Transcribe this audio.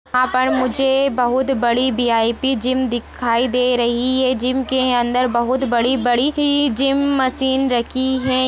यहाँ पर मुझे बहुत बड़ी वी_आई_पी जिम दिखाई दे रही है जिम के अंदर बहुत बड़ी-बड़ी जिम मशीन रखी है।